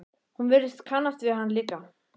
Hún virtist kannast við hann líka.